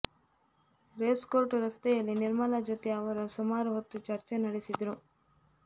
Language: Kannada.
ರೇಸ್ ಕೋರ್ಸ್ ರಸ್ತೆಯಲ್ಲಿ ನಿರ್ಮಲಾ ಜೊತೆ ಅವರು ಸುಮಾರು ಹೊತ್ತು ಚರ್ಚೆ ನಡೆಸಿದರು